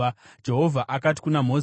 Jehovha akati kuna Mozisi,